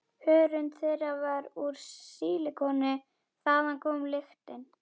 Hörund þeirra var úr sílikoni- þaðan kom lyktin.